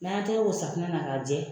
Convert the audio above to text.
N'an y'an tɛgɛ ko safunɛ na k'a jɛ